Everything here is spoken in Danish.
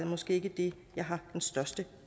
måske ikke det jeg har den største